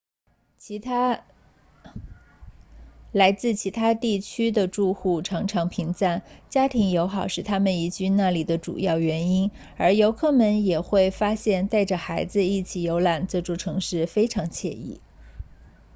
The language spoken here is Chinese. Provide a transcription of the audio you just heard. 来自其他地区的住户常常评赞家庭友好是他们移居那里的主要原因而游客们也会发现带着孩子一起游览这座城市非常惬意